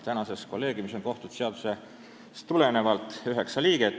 Praegu on kolleegiumis kohtute seadusest tulenevalt üheksa liiget.